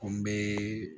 Ko n be